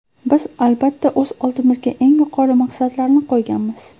Biz albatta o‘z oldimizga eng yuqori maqsadlarni qo‘yganmiz.